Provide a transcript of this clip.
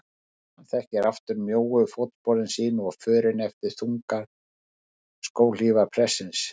Hann þekkti aftur mjóu fótsporin sín og förin eftir þungar skóhlífar prestsins.